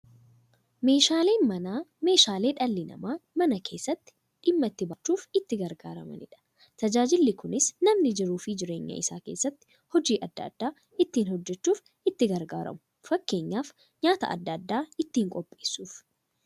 Meeshaaleen Manaa meeshaalee dhalli namaa Mana keessatti dhimma itti ba'achuuf itti gargaaramaniidha. Tajaajilli kunis, namni jiruuf jireenya isaa keessatti hojii adda adda ittiin hojjachuuf itti gargaaramu. Fakkeenyaf, nyaata adda addaa ittiin qopheessuuf.